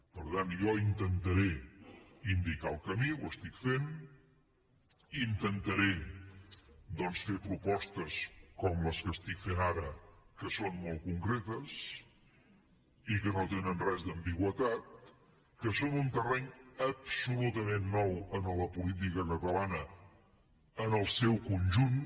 per tant jo intentaré indicar el camí ho faig intentaré fer propostes com les que faig ara que són molt concretes i que no tenen gens d’ambigüitat que són un terreny absolutament nou en la política catalana en el seu conjunt